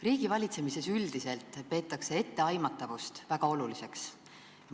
Riigivalitsemises peetakse etteaimatavust üldiselt väga oluliseks.